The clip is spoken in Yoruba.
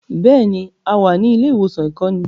Bẹ́ẹ̀ni, a wà ní ilé-ìwòsàn ìkọ́ni.